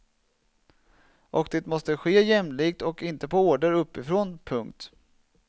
Och det måste ske jämlikt och inte på order uppifrån. punkt